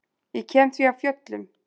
Ég kem því af fjöllum.